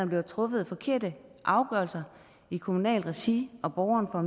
blevet truffet forkerte afgørelser i kommunalt regi og borgeren har